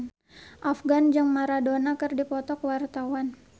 Afgan jeung Maradona keur dipoto ku wartawan